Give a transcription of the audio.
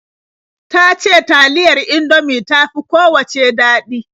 Ta ce taliyar Indomie ta fi kowacce daɗi.